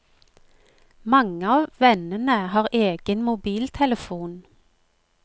Mange av vennene har egen mobiltelefon.